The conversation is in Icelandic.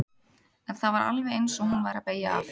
En það var alveg eins og hún væri að beygja af.